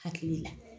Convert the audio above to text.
Hakili la